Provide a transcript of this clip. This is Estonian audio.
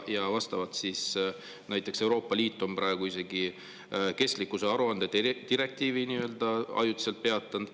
Vastavalt on Euroopa Liit praegu isegi kestlikkusaruande direktiivi nii-öelda ajutiselt peatanud.